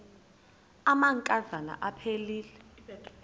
amanka zana aphilele